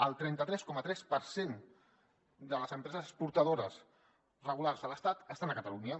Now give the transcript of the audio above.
el trenta tres coma tres per cent de les empreses exportadores regulars a l’estat estan a catalunya